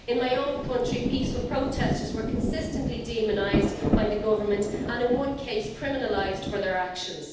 In my own country, peaceful protesters were consistently demonised by the Government and, in one case, criminalised for their actions.